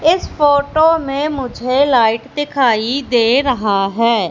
इस फोटो में मुझे लाइट दिखाई दे रहा है।